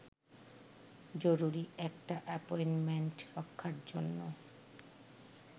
জরুরি একটা অ্যাপয়েন্টমেন্ট রক্ষার জন্য